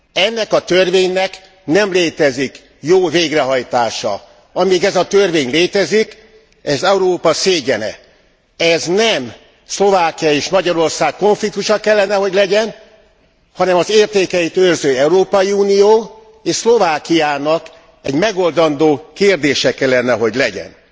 Ennek a törvénynek nem létezik jó végrehajtása. Amíg ez a törvény létezik, ez Európa szégyene. Ez nem Szlovákia és Magyarország konfliktusa kellene, hogy legyen, hanem az értékeit őrző Európai Unió és Szlovákiának egy megoldandó kérdése kellene, hogy legyen.